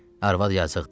Arvad yazıqdır.